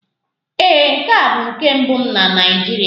Ee, nke a bụ nke mbụ m na Naịjirịa.